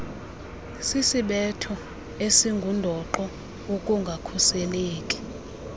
sisisibetho esingundoqo wokungakhuseleki